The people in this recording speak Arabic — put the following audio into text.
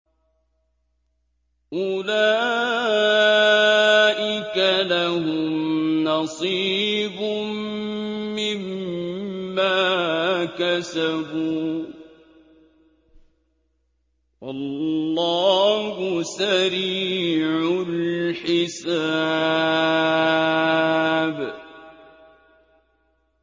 أُولَٰئِكَ لَهُمْ نَصِيبٌ مِّمَّا كَسَبُوا ۚ وَاللَّهُ سَرِيعُ الْحِسَابِ